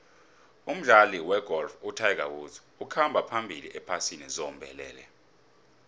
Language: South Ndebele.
umdlali wegolf utiger woods ukhamba phambili ephasini zombelele